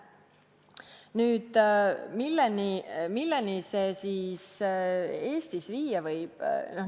Nüüd, milleni see siis Eestis viia võib?